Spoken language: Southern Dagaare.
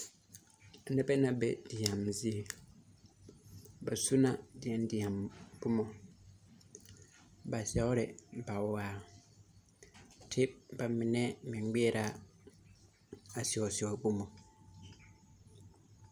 Nibɛ la be deɛme zie ,ba su la deɛdeɛ boma ,ba sɛori bawaa te bamine meŋ ŋmɛorɛ a sɛosɛo boma .